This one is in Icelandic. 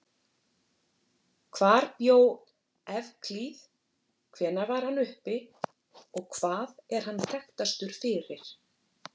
Hvar bjó Evklíð, hvenær var hann uppi og hvað er hann þekktastur fyrir?